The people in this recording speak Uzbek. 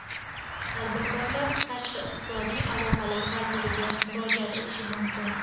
Tadbirkorlar Tashqi iqtisodiy aloqalar vaziriga murojaat etishi mumkin.